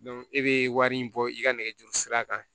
e be wari in bɔ i ka nɛgɛjuru sira kan